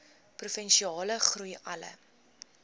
provinsiale groei alle